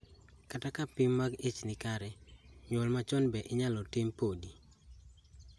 Kata ka pim mag ich ni kare, nyuol machon be inyalo tim podi